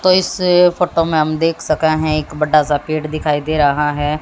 तो इस फोटो में हम देख सके हैं एक बड़ा सा पेड़ दिखाई दे रहा हैं।